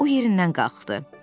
O yerindən qalxdı.